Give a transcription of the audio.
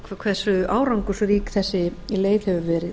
hversu árangursrík þessi leið hefur verið